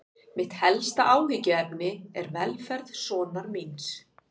Mitt helsta áhyggjuefni er velferð sonar míns.